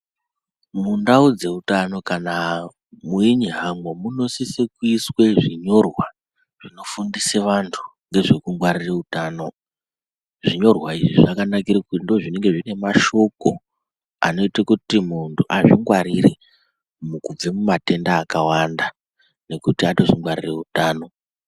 Mundau dzeutano kana weinyahamba munosise kuiswe zvinyorwa zvinofundise vantu ngezvekungwarira utano. Zvinyorwa izvi zvakanakire kuti ndoozvinenge zvine mashoko anoite kuti muntu azvingwarire mukubve mumatenda akawanda, nekuti atozvingwarire utano.